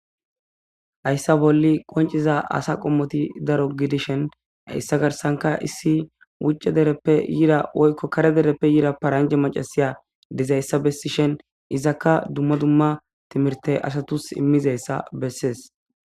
hayssa bolli qonciza asa qommoti daro gidishen hayssa garsanka issi wuce dereppe yira oykko kare dereppe yira paranje macasiya dizayssa bessishen izakka dumma dumma timirte asatus immizayssa bessees